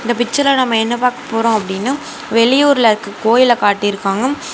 இந்த பிச்சர்ல நாம என்ன பாக்க போறோம்னு அப்படின்னு வெளியூர்ல இருக்க கோயில காட்டி இருக்காங்க.